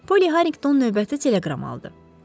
Poli Harrington növbəti teleqram aldı.